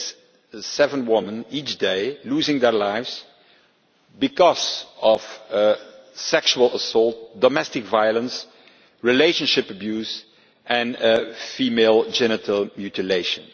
That is seven women each day losing their lives because of sexual assault, domestic violence, relationship abuse or female genital mutilation.